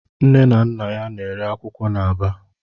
Nne na Nna ya na-ere akwụkwọ n'Aba.